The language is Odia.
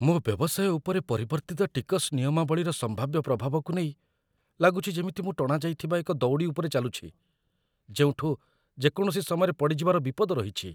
ମୋ ବ୍ୟବସାୟ ଉପରେ ପରିବର୍ତ୍ତିତ ଟିକସ୍ ନିୟମାବଳୀର ସମ୍ଭାବ୍ୟ ପ୍ରଭାବକୁ ନେଇ ଲାଗୁଛି ଯେମିତି ମୁଁ ଟଣାଯାଇଥିବା ଏକ ଦଉଡ଼ି ଉପରେ ଚାଲୁଛି ଯେଉଁଠୁ ଯେକୌଣସି ସମୟରେ ପଡ଼ିଯିବାର ବିପଦ ରହିଛି